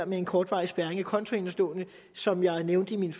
med en kortvarig spærring af kontoindestående som jeg nævnte i min